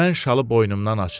mən şalı boynumdan açdım.